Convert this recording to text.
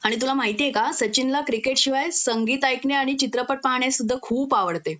आणि तुला माहिती आहे का सचिनला क्रिकेटशिवाय संगीत ऐकणे आणि चित्रपट पाहणे सुद्धा खूप आवडते